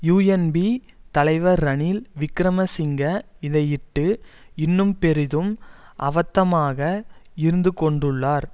UNP தலைவர் ரணில் விக்கிரமசிங்க இதையிட்டு இன்னும் பெரிதும் அவத்தமாக இருந்து கொண்டுள்ளார்